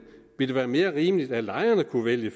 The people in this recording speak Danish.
vil det være mere rimeligt at lejerne kunne vælge